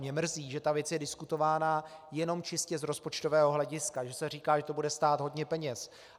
Mě mrzí, že ta věc je diskutována jenom čistě z rozpočtového hlediska, že se říká, že to bude stát hodně peněz.